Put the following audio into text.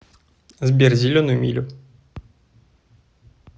сбер зеленую милю